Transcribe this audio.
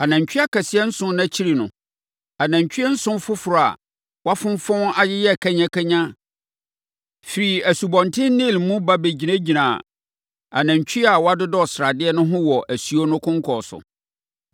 Anantwie akɛseɛ nson no akyiri no, anantwie nson foforɔ a wɔafonfɔn ayeyɛ kanyakanya firii Asubɔnten Nil mu ba bɛgyinaa anantwie a wɔadodɔ sradeɛ no ho wɔ asuo no konkɔn so.